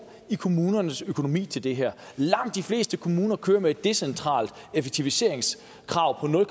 i kommunernes økonomi til det her langt de fleste kommuner kører med et decentralt effektiviseringskrav på nul